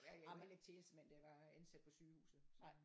Ej men ikke tjenestemand det jeg var ansat på sygehuset så